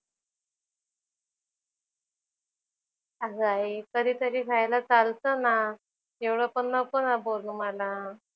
अगं आई कधी तरी खायला चालतं ना. एवढं पण नको ना बोलू मला.